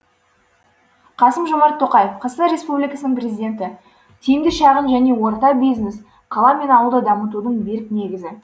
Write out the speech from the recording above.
қасым жомарт тоқаев қазақстан республикасының президенті тиімді шағын және орта бизнес қала мен ауылды дамытудың берік негізі